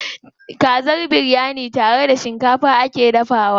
Kazar biryani tare da shikafa ake dafawa.